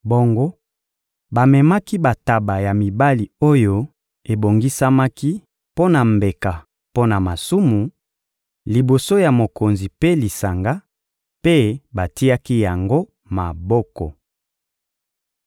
Bongo bamemaki bantaba ya mibali oyo ebongisamaki mpo na mbeka mpo na masumu, liboso ya mokonzi mpe lisanga, mpe batiaki yango maboko.